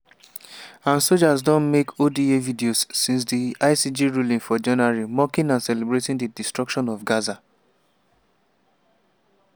and soldiers don make oda videos since di icj ruling for january mocking and celebrating di destruction of gaza.